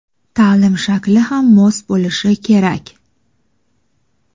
Taʼlim shakli ham mos bo‘lishi kerak.